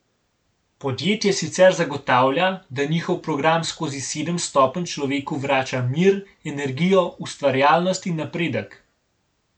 Podjetje sicer zagotavlja, da njihov program skozi sedem stopenj človeku vrača mir, energijo, ustvarjalnost in napredek.